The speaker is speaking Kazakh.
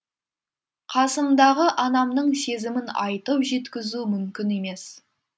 қасымдағы анамның сезімін айтып жеткізу мүмкін емес